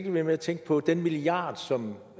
med at tænke på den milliard som